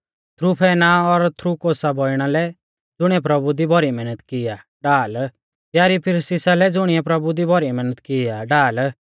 त्रुफैना और त्रुफौसा बौइणा लै ज़ुणीऐ प्रभु दी भौरी मैहनत की आ ढाल प्यारी पिरसिसा लै ज़ुणिऐ प्रभु दी भौरी मैहनत की आ ढाल